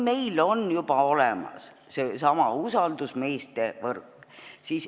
Meil on juba olemas seesama usaldusmeeste võrk.